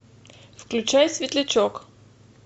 включай светлячок